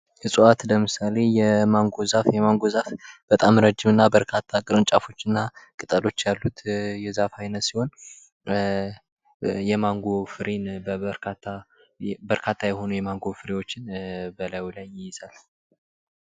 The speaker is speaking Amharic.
እፅዋት ለምሳሌ የማንጎ ዛፍ:- የማንጎ ዛፍ በጣም ረዥም እና በርካታ ቅርንጫፎች እና ቅጠሎች ያሉት የዛፍ አይነት ሲሆን የማንጎን ፍሬን በርካታ የሆኑ የማንጎ ፍሬዎችን ይይዛል።